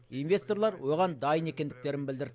инвесторлар оған дайын екендіктерін білдірді